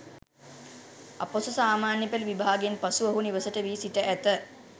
අපොස සාමාන්‍ය පෙළ විභාගයෙන් පසු ඔහු නිවසට වී සිට ඇත.